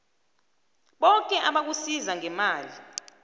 boke abakusiza ngemali